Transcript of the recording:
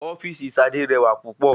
Ofíìsì sadé rẹwà púpọ̀